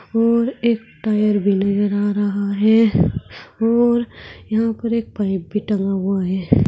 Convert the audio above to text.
और एक टायर भी नजर आ रहा है और यहां पर एक पाइप भी टंगा हुआ है।